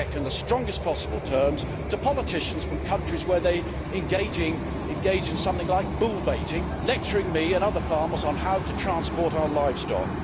I object in the strongest possible terms to politicians from countries where people engage in something like bull baiting lecturing me and other farmers on how to transport our livestock.